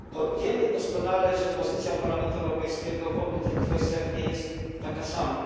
Wiemy doskonale, że pozycja Parlamentu Europejskiego w obu tych kwestiach nie jest taka sama.